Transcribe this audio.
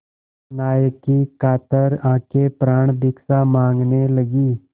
नायक की कातर आँखें प्राणभिक्षा माँगने लगीं